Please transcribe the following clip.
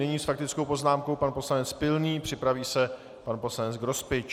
Nyní s faktickou poznámkou pan poslanec Pilný, připraví se pan poslanec Grospič.